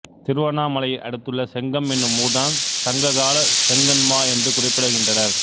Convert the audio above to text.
திருவண்ணாமலையை அடுத்துள்ள செங்கம் என்னும் ஊர்தான் சங்ககாலச் செங்கண்மா என்று குறிப்பிடுகின்றனர்